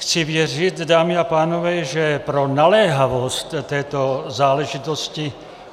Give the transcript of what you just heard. Chci věřit, dámy a pánové, že pro naléhavost této záležitosti